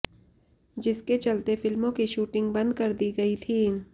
जिसके चलते फिल्मों की शूटिंग बंद कर दी गई थी